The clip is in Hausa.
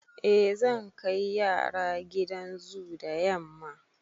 Eh, zan kai yara gidan zoo da yamma.